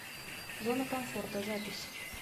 зона комфорта запись